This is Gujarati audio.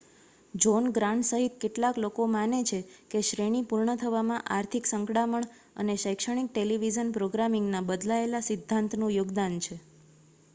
જૉહ્ન ગ્રાન્ટ સહિત કેટલાક લોકો માને છે કે શ્રેણી પૂર્ણ થવામાં આર્થિક સંકડામણ અને શૈક્ષણિક ટેલિવિઝન પ્રોગ્રામિંગના બદલાયેલા સિદ્ધાંતનું યોગદાન છે